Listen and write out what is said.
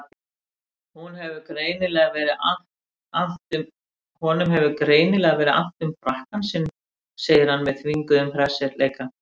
Honum hefur greinilega verið annt um frakkann sinn, segir hann með þvinguðum hressileika.